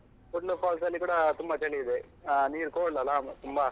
Kudlu falls ಅಲ್ಲಿ ಕೂಡ ತುಂಬ ಚಳಿ ಇದೆ. ಆಹ್ ನೀರ್ cold ಅಲಾ, ತುಂಬಾ?